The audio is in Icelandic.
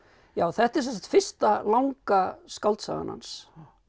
já þetta er sem sagt fyrsta langa skáldsagan hans